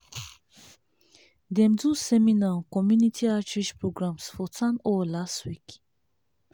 dem do seminar on community outreach programs for town hall last week.